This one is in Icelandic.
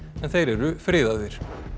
en þeir eru friðaðir